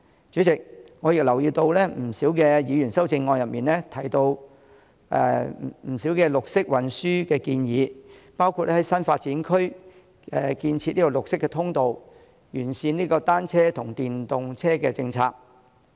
主席，我留意到多位議員的修正案中，提到綠色運輸的建議，包括在新發展區建設綠色通道、完善單車和電動車政策。